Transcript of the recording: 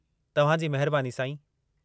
तव्हां जी महिबानी साईं।